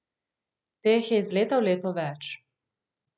Teh je iz leta v leto več.